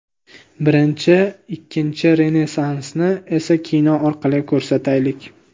Birinchi, ikkinchi Renessansni esa kino orqali ko‘rsataylik.